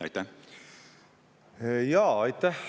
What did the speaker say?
Aitäh!